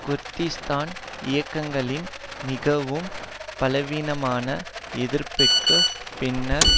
Kurdistan இயக்கங்களின் மிகவும் பலவீனமான எதிர்ப்புக்கு பின்னர்